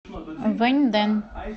вэньдэн